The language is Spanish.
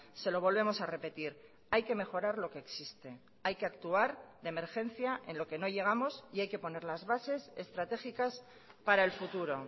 se lo volvemos a repetir hay que mejorar lo que existe hay que actuar de emergencia en lo que no llegamos y hay que poner las bases estratégicas para el futuro